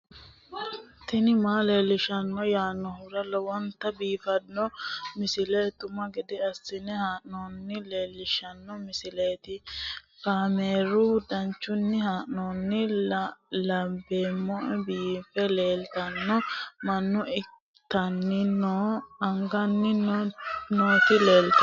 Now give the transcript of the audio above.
tini maa leelishshanno yaannohura lowonta biiffanota misile xuma gede assine haa'noonnita leellishshanno misileeti kaameru danchunni haa'noonni lamboe biiffe leeeltanno mannu itanniana agannn nooti leltanno